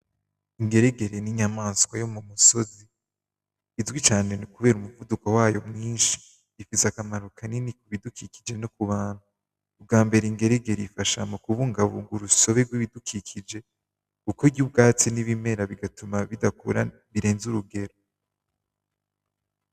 Ingeregere n'inyamaswa yo mu misozi, izwi cane kubera umuvuduko wayo mwinshi, ifise akamaro kanini ku bidukikije no ku bantu, ubwa mbere ingeregere ifasha mu kubungabunga urusobe gw'ibidukikije kuko irya ubwatsi n'ibimera bigatuma bidakura birenze urugero.